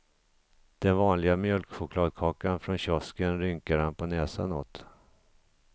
Den vanliga mjölkchokladkakan från kiosken rynkar han på näsan åt.